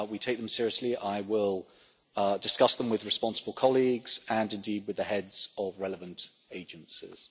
We take them seriously. I will discuss them with responsible colleagues and indeed with the heads of relevant agencies.